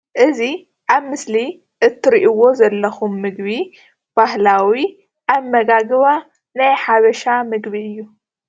እዚ ኣብ ምስሊ እትርእዎ ዘለኩም ምግቢ ባህላዊ ኣመጋግባ ናይ ሓበሻ ምግቢ እዩ።